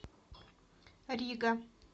рига